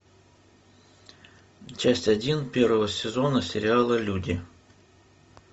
часть один первого сезона сериала люди